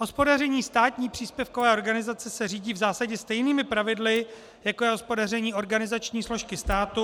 Hospodaření státní příspěvkové organizace se řídí v zásadě stejnými pravidly, jako je hospodaření organizační složky státu -